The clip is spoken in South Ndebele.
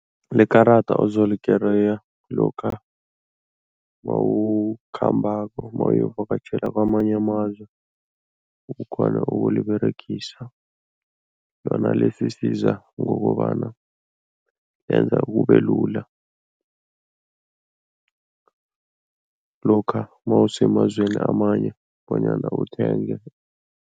Likarada ozolikereya lokha mawukhambako, mawuyovakatjhela kwamanye amazwe, ukghone ukuliberegisa. Lona lisisiza ngokobana benza kubelula lokha mawusemazweni amanye bonyana uthenge.